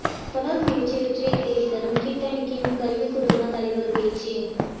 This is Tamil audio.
தொடர் முயற்சி வெற்றியை தேடிதரும் கிட் அண்டு கிம் கல்வி குழும தலைவர் பேச்சு